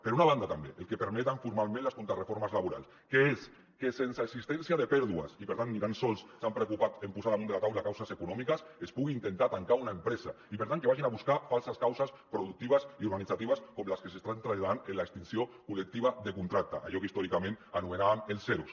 per una banda també el que permeten formalment les contrareformes laborals que és que sense existència de pèrdues i per tant ni tan sols s’han preocupat en posar damunt de la taula causes econòmiques es pugui intentar tancar una empresa i per tant que vagin a buscar falses causes productives i organitzatives com les que s’estan traslladant en l’extinció col·lectiva de contracte allò que històricament anomenàvem els eros